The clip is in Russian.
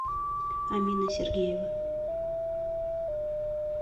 амина сергеева